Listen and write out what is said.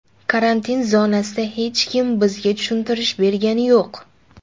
Karantin zonasida hech kim bizga tushuntirish bergani yo‘q.